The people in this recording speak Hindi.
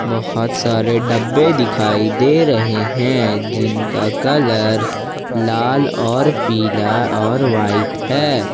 बहुत सारे डब्बे दिखाई दे रहे हैं जिनका कलर लाल और पीला और वाइट है।